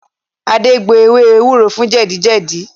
Ade gbo ewé ewúro fún jẹ̀dí jẹ̀jí